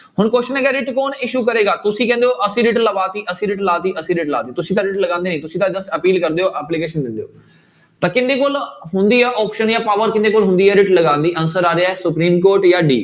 ਹੁਣ question ਹੈਗਾ writ ਕੌਣ issue ਕਰੇਗਾ ਤੁਸੀਂ ਕਹਿੰਦੇ ਹੋ ਅਸੀਂ writ ਲਵਾ ਦਿੱਤੀ, ਅਸੀਂ writ ਲਾ ਦਿੱਤੀ, ਅਸੀਂ writ ਲਾ ਦਿੱਤੀ, ਤੁਸੀਂ ਤਾਂ writ ਲਗਾਉਂਦੇ ਨੀ ਤੁਸੀਂ ਤਾਂ just ਅਪੀਲ ਕਰਦੇ ਹੋ application ਦਿੰਦੇ, ਤਾਂ ਕਿਹਦੇ ਕੋਲ ਹੁੰਦੀ ਆ option ਜਾਂ power ਕਿਹਦੇ ਕੋਲ ਹੁੰਦੀ ਹੈ writ ਲਗਾਉਣ ਦੀ answer ਆ ਰਿਹਾ ਹੈ ਸੁਪਰੀਮ ਕੋਰਟ ਜਾਂ d